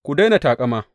Ku daina taƙama.